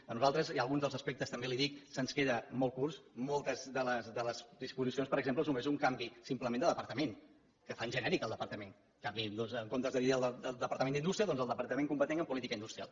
a nosaltres hi ha algun dels aspectes també li ho dic que se’ns queda molt curt moltes de les disposicions per exemple és només un canvi simplement de departament que fan genèric el departament en comptes de dir el departament d’indústria doncs el departament competent en política industrial